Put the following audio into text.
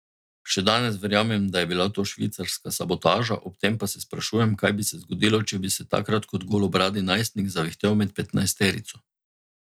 Še danes verjamem, da je bila to švicarska sabotaža, ob tem pa se sprašujem, kaj bi se zgodilo, če bi se takrat kot golobradi najstnik zavihtel med petnajsterico.